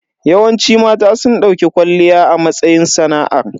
Yawanci mata sun dauki kwalliya a matsayin sana'ar.